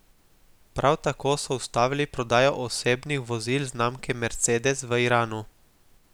Prav tako so ustavili prodajo osebnih vozil znamke Mercedes v Iranu.